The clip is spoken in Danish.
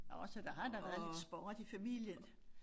Nåh så der har da været lidt sport i familien